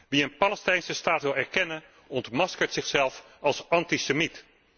Wie een Palestijnse Staat wil erkennen, ontmaskert zichzelf als antisemiet.